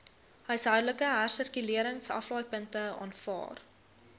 huishoudelike hersirkuleringsaflaaipunte aanvaar